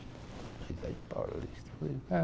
Ele falou? Eu falei é.